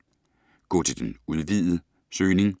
Gå til den udvidede søgning